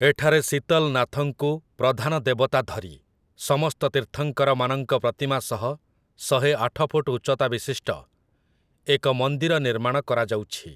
ଏଠାରେ ଶୀତଲନାଥଙ୍କୁ ପ୍ରଧାନ ଦେବତା ଧରି, ସମସ୍ତ ତୀର୍ଥଙ୍କରମାନଙ୍କ ପ୍ରତିମା ସହ ଶହେ ଆଠ ଫୁଟ ଉଚ୍ଚତା ବିଶିଷ୍ଟ ଏକ ମନ୍ଦିର ନିର୍ମାଣ କରାଯାଉଛି ।